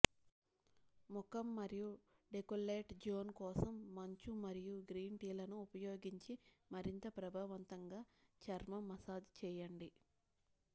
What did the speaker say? ముఖం మరియు decollete zone కోసం మంచు మరియు గ్రీన్ టీలను ఉపయోగించి మరింత ప్రభావవంతంగా చర్మం మసాజ్ చేయండి